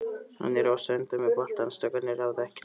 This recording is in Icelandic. Hann er óstöðvandi með boltann, strákarnir ráða ekkert við hann.